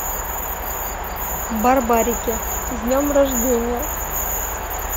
барбарики с днем рождения